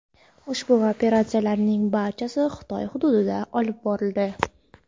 Ushbu operatsiyalarning barchasi Xitoy hududida olib borildi.